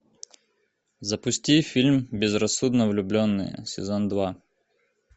запусти фильм безрассудно влюбленные сезон два